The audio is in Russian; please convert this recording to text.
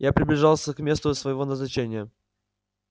я приближался к месту своего назначения